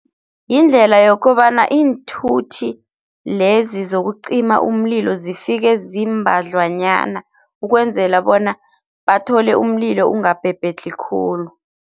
Yindlela yokobana iinthuthi lezi zokucima umlilo zifike ziimbadlwanyana ukwenzela bona bathole umlilo ungabhebhedlhi khulu.